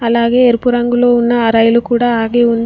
అలాగే ఎరుపు రంగులో ఉన్న ఆ రైలు కూడా ఆగి ఉంది.